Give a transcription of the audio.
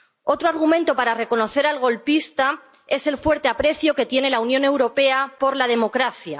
Otro argumento para reconocer al golpista es el fuerte aprecio que tiene la Unión Europea por la democracia.